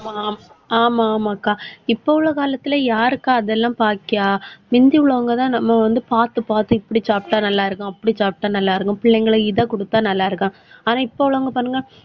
ஆமா, ஆமா ஆமாக்கா. இப்போ உள்ள காலத்துல யாருக்கா அதெல்லாம் பாக்கிறா, முந்தி உள்ளவங்கதான் நம்ம வந்து பார்த்து, பார்த்து இப்படி சாப்பிட்டா நல்லா இருக்கும். அப்படி சாப்பிட்டா நல்லா இருக்கும் பிள்ளைங்களும் இதை கொடுத்தால் நல்லா இருக்கும். ஆனால், இப்ப உள்ளவங்க பாருங்க,